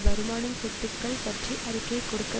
வருமானம் சொத்துக்கள் பற்றி அறிக்கையை கொடுக்க